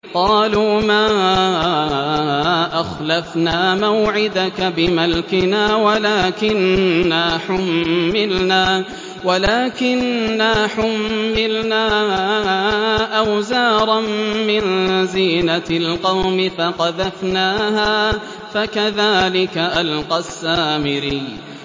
قَالُوا مَا أَخْلَفْنَا مَوْعِدَكَ بِمَلْكِنَا وَلَٰكِنَّا حُمِّلْنَا أَوْزَارًا مِّن زِينَةِ الْقَوْمِ فَقَذَفْنَاهَا فَكَذَٰلِكَ أَلْقَى السَّامِرِيُّ